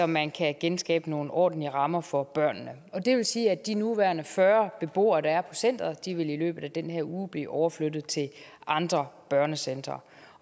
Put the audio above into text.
man kan genskabe nogle ordentlige rammer for børnene det vil sige at de nuværende fyrre beboere der er centeret i løbet af den her uge vil blive overflyttet til andre børnecentre